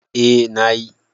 A na yi